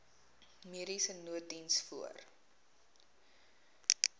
mediese nooddiens voor